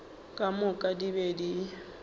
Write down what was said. ka moka di be di